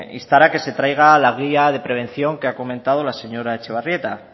instar a que se traiga la guía de prevención que ha comentado la señora etxebarrieta